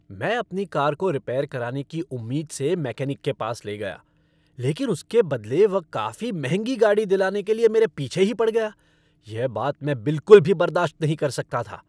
मैं अपनी कार को रिपेयर कराने की उम्मीद से मैकेनिक के पास ले गया, लेकिन उसके बदले वह काफी महंगी गाड़ी दिलाने के लिए मेरे पीछे ही पड़ गया। यह बात मैं बिलकुल भी बर्दाश्त नहीं कर सकता था।